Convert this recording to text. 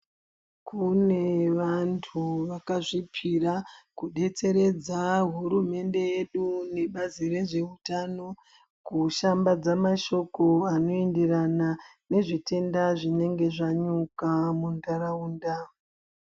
Kune vantu vaka zvipira ku detseredza hurumende yedu ne bazi rezve utano ku shambadza mashoko ano enderana ne zvitenda zvinenge zvanyuka mu ndaraunda.